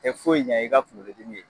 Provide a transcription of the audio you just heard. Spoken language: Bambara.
Tɛ foyi ɲɛ i ka kunkolo dimi ye.